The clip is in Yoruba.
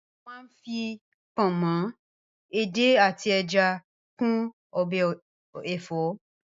A má ń fi pọ̀nmọ́, edé àti ẹja kún ọbẹ̀ ẹ̀fọ́.